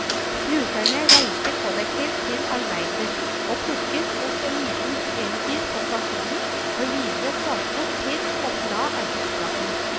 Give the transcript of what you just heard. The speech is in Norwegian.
Brukerne reiste kollektivt til arbeidet, og plukket opp en liten elbil på stasjonen for videre transport til og fra arbeidsplassen.